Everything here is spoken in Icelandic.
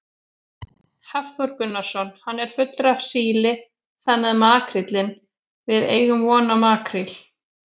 Hafþór Gunnarsson: Hann er fullur af síli þannig að makríllinn, við eigum von á makríl?